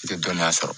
I tɛ dɔnniya sɔrɔ